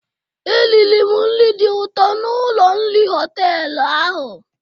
Eriri m nri dị ụtọ n'ụlọ nri họtelụ ahụ.